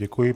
Děkuji.